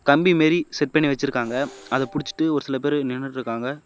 கம்பி மாதிரி செட் பண்ணி வச்சிருக்காங்க அத புடிச்சிட்டு ஒரு சில பேர் நின்னுட்டுருக்காங்க.